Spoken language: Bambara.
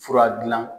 Fura dilan